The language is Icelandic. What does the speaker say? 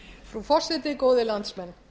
frú forseti góðir landsmenn